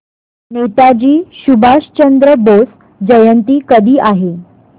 नेताजी सुभाषचंद्र बोस जयंती कधी आहे